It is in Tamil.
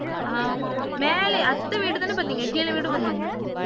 ஆமா ஆமா மேல அத்தவீடு தான வந்தீங்க கீழ வீடும் வந்தீங்களா?